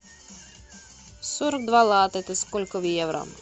сорок два лата это сколько в евро